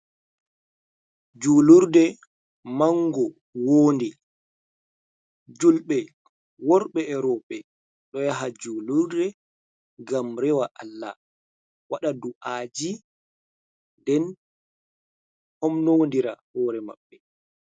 Julurde manngo woonde, julɓe worɓe e rowɓe ɗo yaha julurde. Ngam rewa Allah waɗa du'aji, nden homnondira hoore maɓɓe.